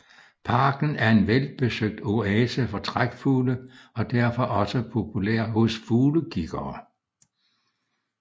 Parken er en velbesøgt oase for trækfugle og er derfor også populær hos fuglekiggere